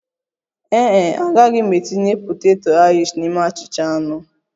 Ee e, agaghị m etinye poteto Airishi n'ime achịcha anụ